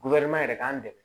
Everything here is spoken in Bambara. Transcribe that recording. yɛrɛ k'an dɛmɛ